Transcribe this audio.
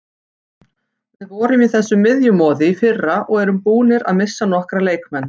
Við vorum í þessu miðjumoði í fyrra og erum búnir að missa nokkra leikmenn.